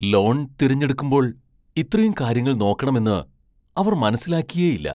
Loan തിരഞ്ഞെടുക്കുമ്പോൾ ഇത്രയും കാര്യങ്ങൾ നോക്കണമെന്ന് അവർ മനസ്സിലാക്കിയേയില്ല!